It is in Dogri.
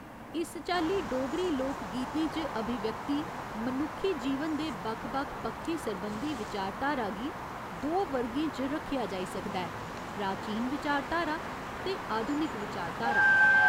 इस चाल्ली डोगरी लोक गीतें च अभिव्यक्त मनुक्खी जीवन दे बक्ख बक्ख पक्खें सरबंधी विचारधारा गी दो वर्गें च रक्खेआ जाई सकदा ऐ प्राचीन विचारधारा ते आधुनिक विचारधारा।